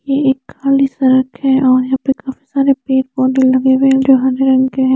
ये एक काली सा रखे है और यहा पे काफी सारे पेड़ पोधे लगे हुए है जो हरे रंग के है।